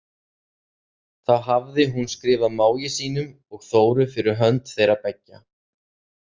Þá hafði hún skrifað mági sínum og Þóru fyrir hönd þeirra beggja.